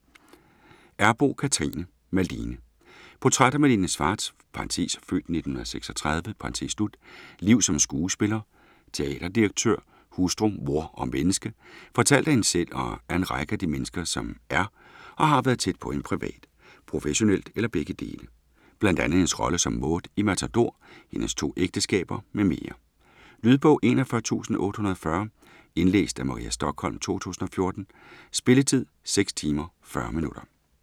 Errboe, Cathrine: Malene Portræt af Malene Schwartz' (f. 1936) liv som skuespiller, teaterdirektør, hustru, mor og menneske - fortalt af hende selv og af en række af de mennesker, som er og har været tæt på hende privat, professionelt eller begge dele. Bl.a. hendes rolle som Maude i Matador, hendes 2 ægteskaber m.m. Lydbog 41840 Indlæst af Maria Stokholm, 2014. Spilletid: 6 timer, 40 minutter.